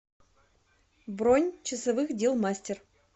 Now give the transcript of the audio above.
бронь часовых дел мастер